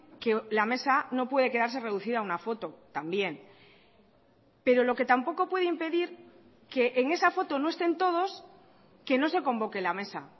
que la mesa no puede quedarse reducida a una foto también pero lo que tampoco puede impedir que en esa foto no estén todos que no se convoque la mesa